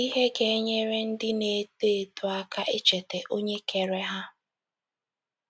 Ihe Ga - enyere Ndị Na - eto Eto Aka Icheta Onye Kere Ha